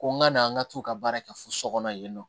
Ko n ka na n ka t'u ka baara kɛ fo so kɔnɔ yen nɔ